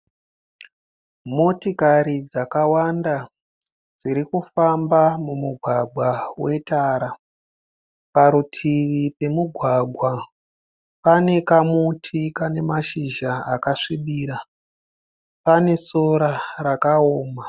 Motikari dzakawanda dzirikufamba mumugwagwa wetara. Parutivi pemugwagwa, pane kamuti Kane mashizha akasvibirira. Pane sora rakaoma.